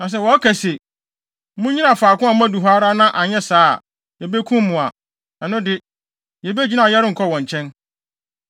Na sɛ wɔka se, ‘Munnyina faako a moadu hɔ ara na anyɛ saa a, yebekum mo’ a, ɛno de, yebegyina a yɛrenkɔ wɔn nkyɛn.